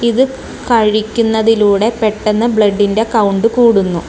ഇത് കഴിക്കുന്നതിലൂടെ പെട്ടെന്ന് ബ്ലഡിന്റെ കൗണ്ട് കൂടുന്നു.